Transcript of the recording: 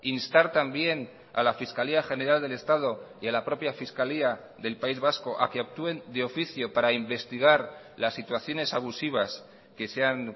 instar también a la fiscalía general del estado y a la propia fiscalía del país vasco a que actúen de oficio para investigar las situaciones abusivas que se han